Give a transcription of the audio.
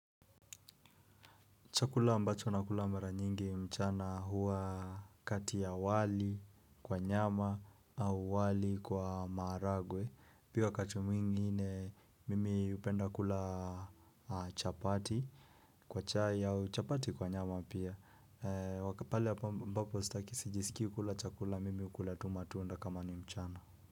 Chakula ambacho na kula mara nyingi mchana huwa kati ya wali kwa nyama au wali kwa maragwe. Pia kati mwingine mimi upenda kula chapati kwa chai au chapati kwa nyama pia. Wakapale ambapo sitaki sijisikii kula chakula mimi ukula tu matunda kama ni mchana.